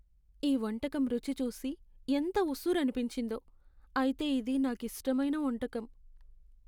ఈ వంటకం రుచి చూసి ఎంత ఉస్సురనిపించిందో, అయితే ఇది నాకిష్టమైన వంటకం.